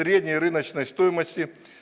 средняя рыночная стоимость